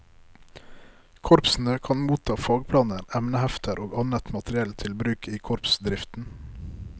Korpsene kan motta fagplaner, emnehefter og annet materiell til bruk i korpsdriften.